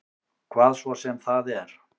Hvað svo sem það er.